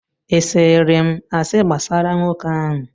ị sịịrị m asị gbasara nwoke ahụ?